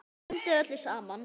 Blandið öllu saman.